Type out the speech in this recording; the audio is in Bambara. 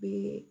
Be